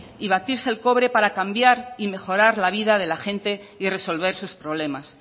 y batirse el cobre para cambien y mejorar la vida de la gente y resolver sus problemas